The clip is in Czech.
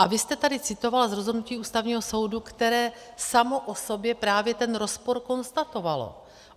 A vy jste tady citoval z rozhodnutí Ústavního soudu, které samo o sobě právě ten rozpor konstatovalo.